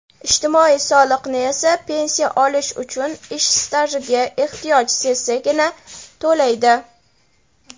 ijtimoiy soliqni esa pensiya olish uchun ish stajiga ehtiyoj sezsagina to‘laydi.